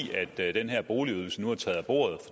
den her boligydelse nu er taget af bordet